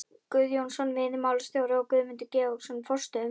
Guðjónsson veiðimálastjóri og Guðmundur Georgsson forstöðumaður